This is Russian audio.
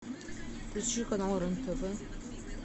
включи канал рен тв